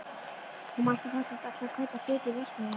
Þú manst að Þorsteinn ætlaði að kaupa hlut í verksmiðjunni.